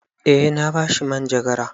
Eh na ba shi manjagara.